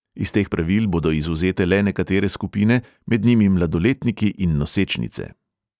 Iz teh pravil bodo izvzete le nekatere skupine, med njimi mladoletniki in nosečnice.